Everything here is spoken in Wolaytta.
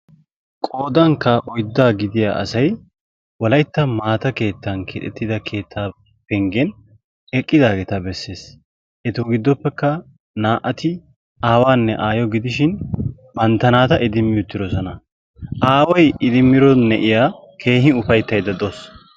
Qoodankka oyddaa gidiya asayi wolaytta maata keettan keexettida keettaa penggen eqqidaageeta besses. Etu giddoppekka naa7ati aawaanne aayo gidishin bantta naata idimmi uttidosona. Aawayi idimmido na7iya keehi ufayttaydda de7auwsu.